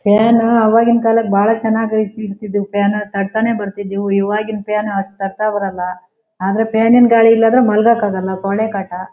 Fan ಅವಗಿನ್ ಕಾಲಕ್ ಬಾಳ ಚೆನ್ನಾಗ್ ಐತ್ ಇದು ಫ್ಯಾನ್ ತಾಡತಾನೆ ಬರ್ತಿದ್ವುಇವಗಿನ್ ಫ್ಯಾನ್ ಅಷ್ಟ್ ತಾಡ್ತಾನೆ ಬರೋಲ್ಲ ಆದ್ರೆ ಫ್ಯಾನಿನ್ ಗಾಳಿ ಇಲ್ಲ ಅಂದ್ರೆ ಮಲಗಕ್ಕೆ ಆಗೋಲ್ಲ ಸೊಳ್ಳೆ ಕಾಟ.